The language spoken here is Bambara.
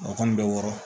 O kɔni bɛ wɔɔrɔ